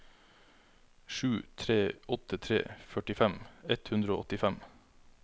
sju tre åtte tre førtifem ett hundre og åttifem